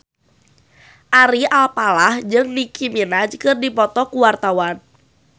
Ari Alfalah jeung Nicky Minaj keur dipoto ku wartawan